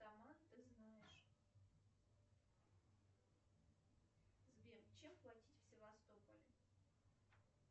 ты знаешь сбер чем платить в севастополе